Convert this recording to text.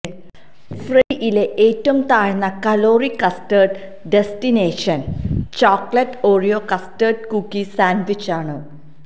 ഫ്രെഡ്ഡിയിലെ ഏറ്റവും താഴ്ന്ന calorie custard destination chocolate Oreo custard cookie sandwich ആണ്